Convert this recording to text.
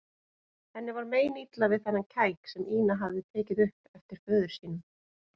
Henni var meinilla við þennan kæk sem Ína hafði tekið upp eftir föður sínum.